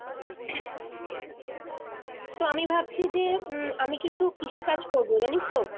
তো আমি ভাবছি যে উম আমি কিছু কৃষি কাজ করবো জানিস তো